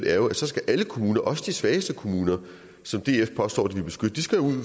er jo at så skal alle kommuner også de svageste kommuner som df påstår de vil beskytte